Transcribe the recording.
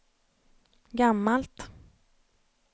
gammalt